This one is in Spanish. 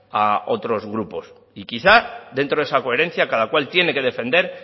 a otros grupos y quizás dentro de esa coherencia cada cual tiene que defender